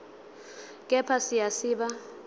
kepha siya siba